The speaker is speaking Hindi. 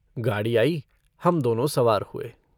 गाड़ी आयी हम दोनों सवार हुए।